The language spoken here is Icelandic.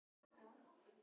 Altént reyna.